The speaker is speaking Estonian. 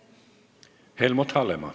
Helmut Hallemaa.